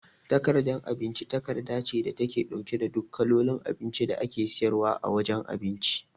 Takardar abinci takarda ce da take ɗauke da duk kalolin abinci da ake siyarwa a wajan cin abinci